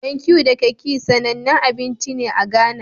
Bankeu da kekhe, sanannen abinci ne a Ghana.